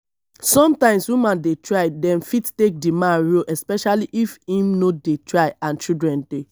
sometimes women dey try dem fit take di man role especially if im no dey try and children dey